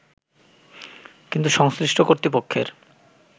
কিন্তু সংশ্লিষ্ট কর্তৃপক্ষের